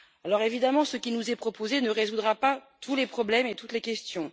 Bien évidemment, ce qui nous est proposé ne répondra pas à tous les problèmes et à toutes les questions.